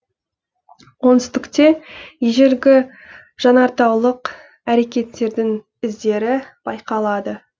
оңтүстікте ежелгі жанартаулық әрекеттердің іздері байқалады